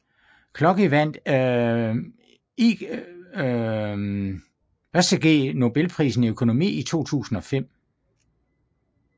Clocky vandt Ig Nobelprisen i økonomi i 2005